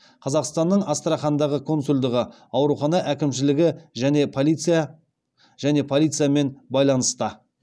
қазақстанның астрахандағы консулдығы аурухана әкімшілігі және полициямен байланыста